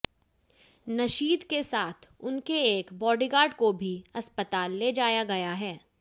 नशीद के साथ उनके एक बॉडीगार्ड को भी अस्पताल ले जाया गया है